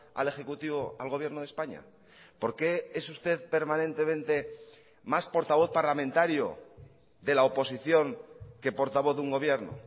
al ejecutivo al gobierno de españa por qué es usted permanentemente más portavoz parlamentario de la oposición que portavoz de un gobierno